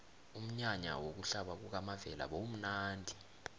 umnyanya wokuhlaba kukamavela bewumnadi